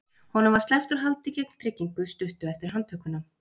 Honum var sleppt úr haldi gegn tryggingu stuttu eftir handtökuna.